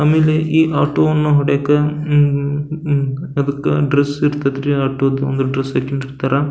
ಆಮೇಲೆ ಈ ಆಟೋ ವನ್ನ ಹೊಡೆಯಕಾ ಹ್ಮ್ಮ್ ಹಮ್ಮ್ ಅದಕ್ಕ ಡ್ರೆಸ್ ಇರ್ತಾದ್ ರೀ ಆಟೋ ದ್ ಒಂದು ಡ್ರೆಸ್ ಹಾಕ್ಕೊಂಡ್ ಇರ್ತಾರ .